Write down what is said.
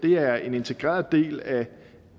er en integreret del af